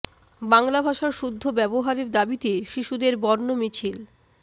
বাংলা ভাষার শুদ্ধ ব্যবহারের দাবিতে শিশুদের বর্ণ মিছিল